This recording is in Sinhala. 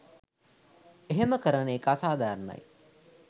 එහම කරන එක අසාධාරණයි